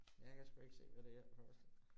Jeg kan sgu ikke se, hvad det her forestiller